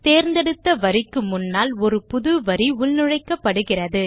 தேர்ந்தெடுத்த வரிக்கு முன்னால் ஒரு புது வரி உள்நுழைக்கப்படுகிறது